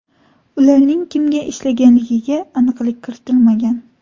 Ularning kimga ishlaganligiga aniqlik kiritilmagan.